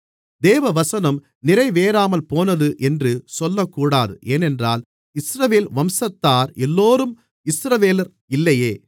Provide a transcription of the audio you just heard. தேவவசனம் நிறைவேறாமல்போனது என்று சொல்லக்கூடாது ஏனென்றால் இஸ்ரவேல் வம்சத்தார் எல்லோரும் இஸ்ரவேலர் இல்லையே